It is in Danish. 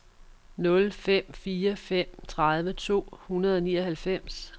nul fem fire fem tredive to hundrede og nioghalvfems